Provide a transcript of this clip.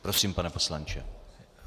Prosím, pane poslanče.